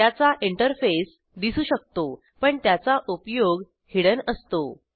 त्याचा इंटरफेस दिसू शकतो पण त्याचा उपयोग हिडेन असतो